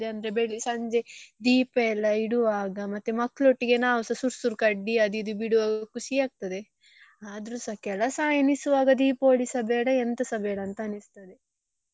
ಅಂದ್ರೆ ಬೆಳಿ~ ಸಂಜೆ ದೀಪಯೆಲ್ಲ ಇಡುವಾಗ ಮತ್ತೆ ಮಕ್ಳು ಒಟ್ಟಿಗೆ ನಾವ್ಸ ಸುರ್ ಸುರ್ ಕಡ್ಡಿ ಅದು ಇದು ಬಿಡುವಾಗ ಖುಷಿ ಆಗ್ತದೆ ಆದ್ರೂಸ ಕೆಲಸ ಎಣಿಸುವಾಗ Deepavali ಸ ಬೇಡ ಎಂತಸಾ ಬೇಡ ಅಂತ ಅನಿಸ್ತದೆ.